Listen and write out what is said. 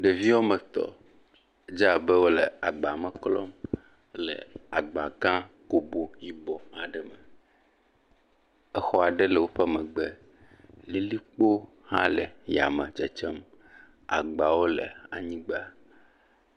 Ɖeviwo wo ame etɔ̃. Edze abe wole agba me klɔm. Wole agba gã gobo yibɔ aɖe me. Exɔ aɖe le woƒe megbe. Lilikpo hã le yame dzedzem. Agbawo le anyigba.